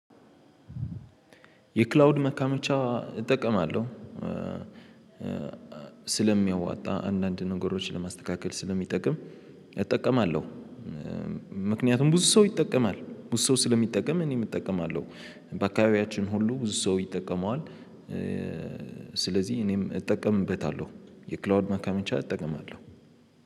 የክላውድ መካመቻ እጠቀማለሁ። ስለሚያዋጣ አንዳንድ ነገሮችን ለማስተካከል ስለሚጠቅም እጠቀማለሁ። ምክንያቱም ብዙ ሰው ይጠቀማል ብዙ ሰው ስለሚጠቀም እኔም እጠቀማለሁ። በአካባቢያችን ሁሉ ብዙ ሰው ይጠቀመዋል። ስለዚህ እኔም እጠቀምበታለሁ የክላውድ መካመቻ እጠቀማለሁ